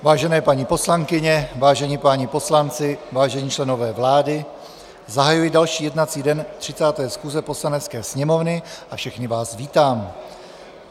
Vážené paní poslankyně, vážení páni poslanci, vážení členové vlády, zahajuji další jednací den 30. schůze Poslanecké sněmovny a všechny vás vítám.